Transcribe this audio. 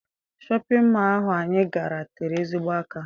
Shọpịn mọọ ahụ anyị gara tere ezigbo aka.